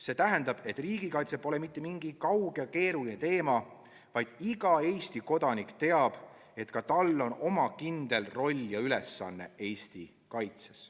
See tähendab, et riigikaitse pole mitte mingi kauge ja keeruline teema, vaid iga Eesti kodanik teab, et tal on oma kindel roll ja ülesanne Eesti kaitses.